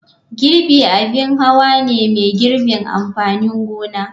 Girbi abin hawa ne mai girbin amfanin gona.